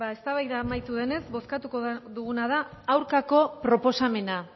beno eztabaida amaitu denez bozkatuko duguna da aurkako proposamena